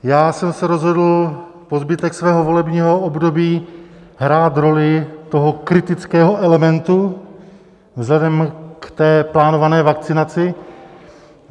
Já jsem se rozhodl po zbytek svého volebního období hrát roli toho kritického elementu vzhledem k té plánované vakcinaci.